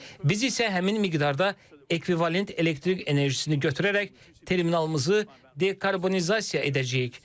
Biz isə həmin miqdarda ekvivalent elektrik enerjisini götürərək terminalımızı dekarbonizasiya edəcəyik.